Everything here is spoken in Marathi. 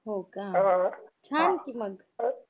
होका हा... छान कि मग